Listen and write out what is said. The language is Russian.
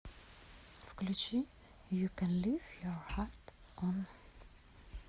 включи ю кэн лив е хат он